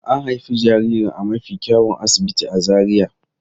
An haifi jaririn a mafi kyawun asibiti a Zaria.